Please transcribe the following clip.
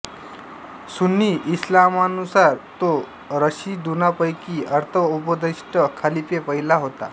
सुन्नी इस्लामानुसार तो राशिदुनांपैकी अर्थ उपदिष्ट खलिफे पहिला होता